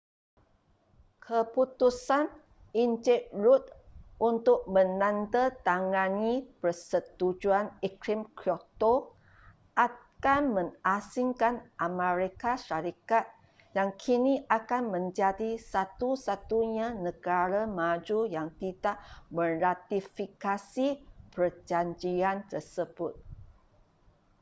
keputusan en rudd untuk menandatangani persetujuan iklim kyoto akan mengasingkan amerika syarikat yang kini akan menjadi satu-satunya negara maju yang tidak meratifikasi perjanjian tersebut